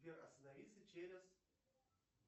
сбер остановиться через